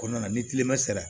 Kɔnɔna na ni kilema sera